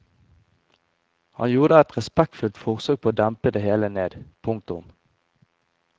Han gjorde et respektfullt forsøk på å dempe det hele ned. punktum